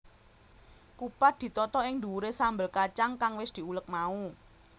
Kupat ditata ing dhuwuré sambel kacang kang wis diulek mau